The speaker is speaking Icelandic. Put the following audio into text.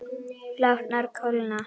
Látnar kólna.